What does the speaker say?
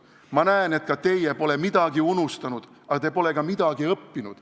Ma näen, et teiegi pole midagi unustanud, aga te pole ka midagi õppinud.